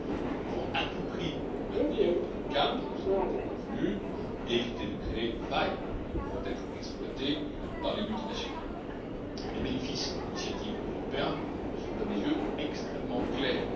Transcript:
Nous devons à tout prix maintenir le cap de ce qui a été convenu, éviter de créer des failles qui pourraient être exploitées par les multinationales. Les bénéfices d'une initiative au niveau européen sont à mes yeux extrêmement clairs.